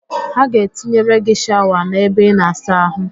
Ha ga-etinyere gị shawa n'ebe ịna-asa ahụ